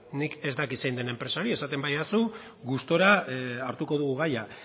nik ez dakit zein den enpresa hori esaten badidazu gustura hartuko dugu gaia